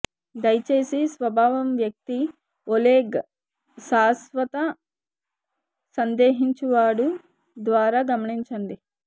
దయచేసి స్వభావం వ్యక్తి ఒలేగ్ శాశ్వత సందేహించువడు ద్వారా గమనించండి